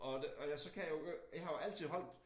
Og det og jeg så kan jeg jo øh jeg har jo altid holdt